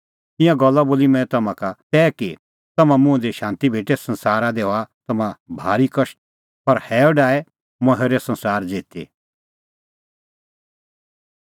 ईंयां गल्ला बोली मंऐं तम्हां का तै कि तम्हां मुंह दी शांती भेटे संसारा दी हआ तम्हां भारी कष्ट पर हैअ डाहै मंऐं हेरअ संसार ज़िती